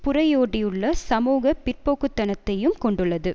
புரையோடியுள்ள சமூக பிற்போக்குத்தனத்தையும் கொண்டுள்ளது